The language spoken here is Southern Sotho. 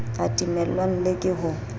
a timellwang le ke ho